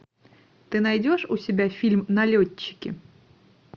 ты найдешь у себя фильм налетчики